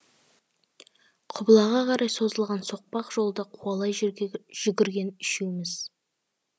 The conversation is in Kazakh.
құбылаға қарай созылған соқпақ жолды қуалай жүгірген үшеуміз